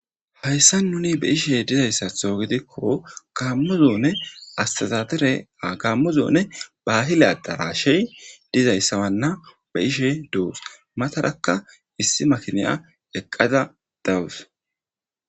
hayssa nuni be ishe dizayssatho gidikko kammo zoone astazadere a gammo zoone bahila darashey dizayssawanna be ishe dous matarakka issi makiniya eqqada dawus